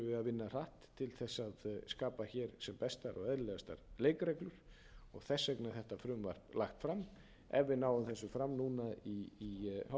vinna hratt til þess að skapa hér sem bestar og eðlilegastar leikreglur og þess vegna er þetta frumvarp lagt fram ef við náum þessu fram núna í